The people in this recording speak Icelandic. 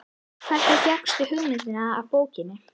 Hvernig fékkstu hugmyndina af bókinni?